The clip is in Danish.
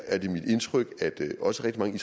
er det mit indtryk at også rigtig mange